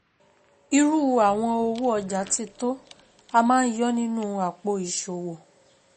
Irú àwọn owó ọjà títò,a máa ń yọ́ nínú àpò ìṣòwò.